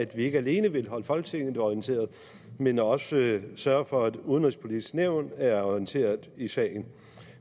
vil ikke alene holde folketinget orienteret men også sørge for at udenrigspolitisk nævn er orienteret i sagen